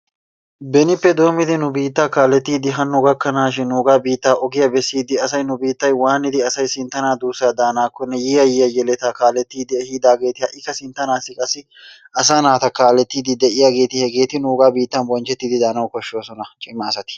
benippe doommidi nu biitta kaalletidi hano gakanashin nu biitta ogiyaaa bessidi asay nu biitta asa waanidi aday sinttana duussa daannakkonne yiyyaa, yiyya yeletta kaaletide ehidaageeti ha'ikka sinttanassi qassi asaa naata kaalettide de'iyaageeti hegeeti nuugan biittan bonchchetidi daanaw koshshoosona, cimaa asati.